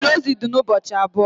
Olili ozu di n' ụbọchị abụọ